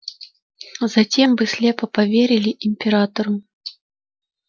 затем вы слепо поверили императору